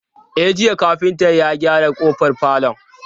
E, jiya kafinta ya gyara ƙofar falon.